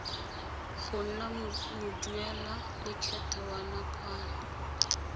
go nna moduelalekgetho wa nakwana